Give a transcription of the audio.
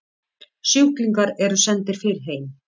Sjúklingar eru sendir fyrr heim